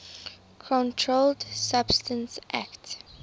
controlled substances acte